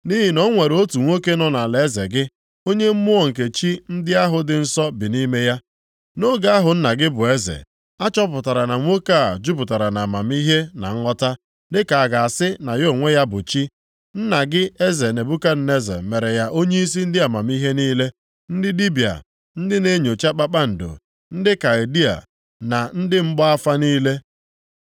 Nʼihi na o nwere otu nwoke nọ nʼalaeze gị, onye mmụọ nke chi ndị ahụ dị nsọ bi nʼime ya. Nʼoge ahụ nna gị bụ eze, a chọpụtara na nwoke a jupụtara nʼamamihe na nghọta, dịka a ga-asị na ya onwe ya bụ chi. Nna gị eze Nebukadneza mere ya onyeisi ndị amamihe niile, ndị dibịa, ndị na-enyocha kpakpando, ndị Kaldịa na ndị mgba afa niile.